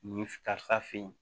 Nin karisa fe yen